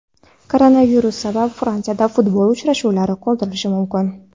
Koronavirus sabab Fransiyada futbol uchrashuvlari qoldirilishi mumkin.